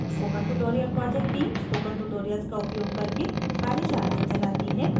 spoken tutorial project team spoken tutorial का उपयोग करके कार्यशालाएँ भी चलाती है